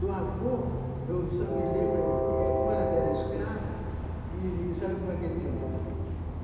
Do avô, eu só me lembro eh, como ela era escrava, e sabe como é que é o tempo?